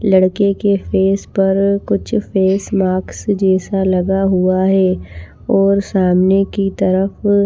लड़के के फेस पर कुछ फेस मास्क जैसा लगा हुआ है और सामने की तरफ --